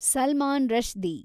Salman Rushdie